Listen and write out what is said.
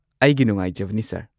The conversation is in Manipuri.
ꯑꯩꯒꯤ ꯅꯨꯡꯉꯥꯏꯖꯕꯅꯤ ꯁꯔ꯫